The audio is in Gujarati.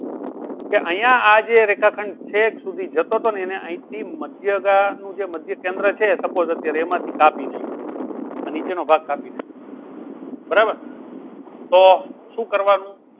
કે અહીંયા આ જે રેખાખંડ છેક સુધી જતો તો ને એને અહીંથી મધ્યગા નું જે મધ્યકેન્દ્ર છે suppose અત્યારે એમાંથી કાપી નાખ્યું છે. આ નીચેનો ભાગ કાપી નાખ્યો છે. બરાબર તો શું કરવાનું